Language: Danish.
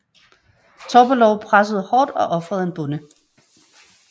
Topalov pressede hårdt og ofrede en bonde